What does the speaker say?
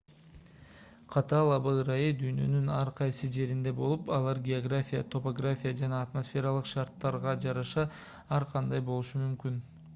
катаал аба ырайы дүйнөнүн ар кайсы жеринде болуп алар география топография жана атмосфералык шарттарга жараша ар кандай болушу мүмкүн